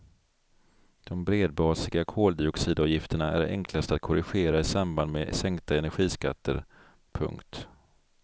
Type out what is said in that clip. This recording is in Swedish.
De bredbasiga koldioxidavgifterna är enklast att korrigera i samband med sänkta energiskatter. punkt